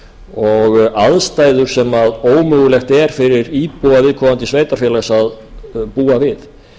og aðstæður sem ómögulegt er fyrir íbúa viðkomandi sveitarfélags að búa við